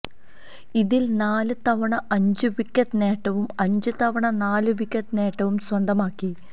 ഇതില് നാല് തവണ അഞ്ച് വിക്കറ്റ് നേട്ടവും അഞ്ച് തവണ നാല് വിക്കറ്റ് നേട്ടവും സ്വന്തമാക്കി